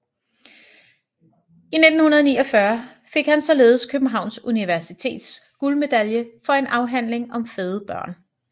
I 1949 fik han således Københavns Universitets guldmedalje for en afhandling om fede børn